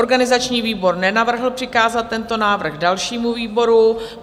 Organizační výbor nenavrhl přikázat tento návrh dalšímu výboru.